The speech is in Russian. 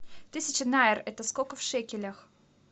тысяча найр это сколько в шекелях